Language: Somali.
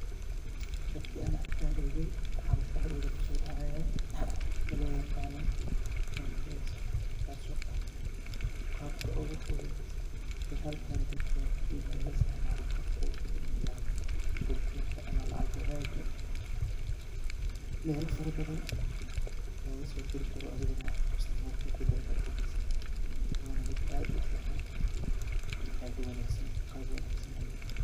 Markan argay egay waxa masqaxdeeyda kusodactah waxa lo taqanoh Mpesa kaso Qabka ugu futhut oo halkena dalka keenya laga isticmalah ee lacag kudbinta amah lacag wathaga mela farabathan lagu dirikaroh amah lagakasodiri karoh dalka daxdisa Wana mid aad u fican Qabo wanagsan leeh .